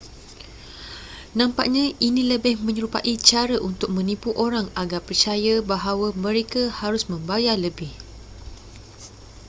nampaknya ini lebih menyerupai cara untuk menipu orang agar percaya bahwa mereka harus membayar lebih